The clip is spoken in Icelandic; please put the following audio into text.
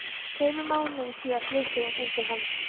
Tveimur mánuðum síðar flutti hún inn til hans.